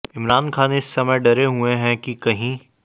इमरान खान इस समय डरे हुए हैं कि कहीं